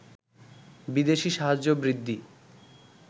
বিদেশি সাহায্য বৃদ্ধি